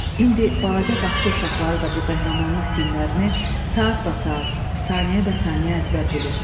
İndi balaca bağça uşaqları da bu qəhrəmanlıq günlərini saat basaat, saniyə bəsaniyə əzbər bilir.